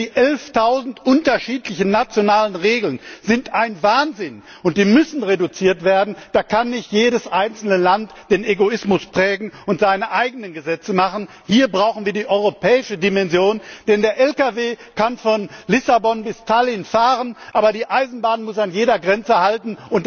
Denn die 11000 unterschiedlichen nationalen Regeln sind ein Wahnsinn! Die müssen reduziert werden. Da kann nicht jedes einzelne Land den Egoismus prägen und seine eigenen Gesetze machen. Hier brauchen wir die europäische Dimension, denn der Lkw kann von Lissabon bis Tallin fahren, aber die Eisenbahn muss an jeder Grenze halten.